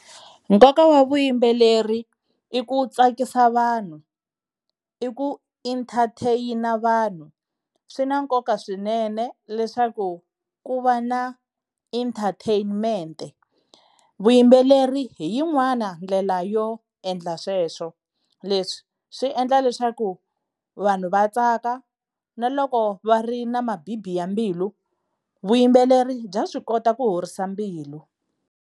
Nkoka wa vuyimbeleri i ku tsakisa vanhu, i ku entertain-a vanhu. Swi na nkoka swinene leswaku ku va na entertainment. Vuyimbeleri hi yin'wana ndlela yo endla sweswo. Leswi swi endla leswaku vanhu va tsaka na loko va ri na mabibi ya mbilu, vuyimbeleri bya swi kota ku horisa mbilu.